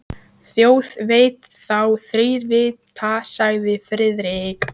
Þjóð veit þá þrír vita sagði Friðrik.